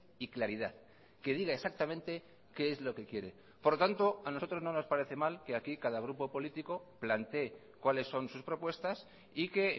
y claridad que diga exactamente qué es lo que quiere por lo tanto a nosotros no nos parece mal que aquí cada grupo político plantee cuáles son sus propuestas y que